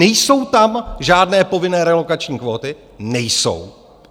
Nejsou tam žádné povinné relokační kvóty - nejsou.